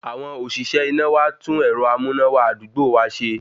Àwọn oníṣẹ́ iná wá tún ẹ̀rọ amúnáwá àdúgbò wa ṣe